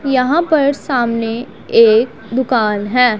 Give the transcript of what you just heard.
यहां पर सामने एक दुकान है।